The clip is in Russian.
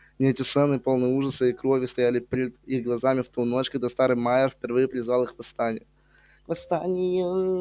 не эти сцены полные ужаса и крови стояли пред их глазами в ту ночь когда старый майер впервые призвал их к восстанию к восстанию